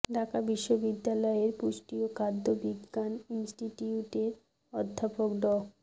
ঢাকা বিশ্ববিদ্যালয়ের পুষ্টি ও খাদ্য বিজ্ঞান ইনস্টিটিউটের অধ্যাপক ড